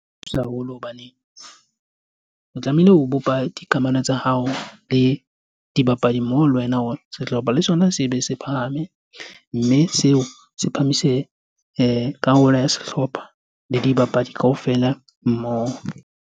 Thusa haholo hobane o tlamehile o bopa dikamano tsa hao le dibapadi mmoho le wena hore sehlopha le sona se be se phahame. Mme seo se phamise karolo ya sehlopha le dibapadi kaofela mmoho.